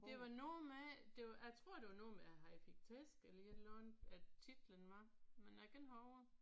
Det var noget med det var jeg tror det var noget med at han fik tæsk eller et eller andet at titlen var. Men jeg kan ikke huske det